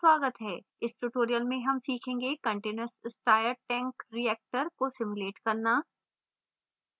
इस tutorial में हम सीखेंगे: continuous stirred tank reactor cstr को simulate करना